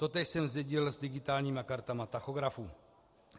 Totéž jsem zdědil s digitálními kartami tachografů.